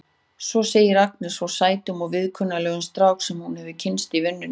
Svo segir Agnes frá sætum og viðkunnanlegum strák sem hún hefur kynnst í vinnunni.